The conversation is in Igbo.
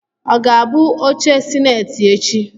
Ọ ga-abụ oche sineti echi?